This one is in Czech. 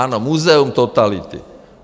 Ano, Muzeum totality.